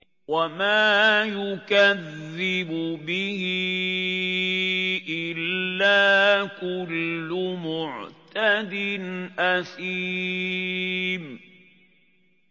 وَمَا يُكَذِّبُ بِهِ إِلَّا كُلُّ مُعْتَدٍ أَثِيمٍ